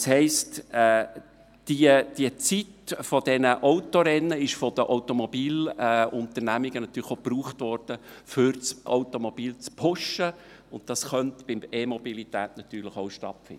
Das heisst, die Zeit dieser Autorennen wurde von den Automobilunternehmungen natürlich auch benutzt, um das Automobil zu pushen, und das könnte bei der EMobilität natürlich auch stattfinden.